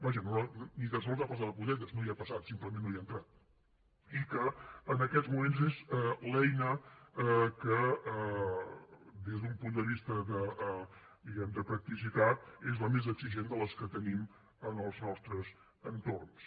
vaja ni tan sols hi ha passat de puntetes no hi ha passat simplement no hi ha entrat i que en aquests moments és l’eina que des d’un punt de vista diguem ne de practicitat és la més exigent de les que tenim en els nostres entorns